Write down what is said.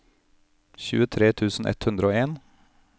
tjuetre tusen ett hundre og en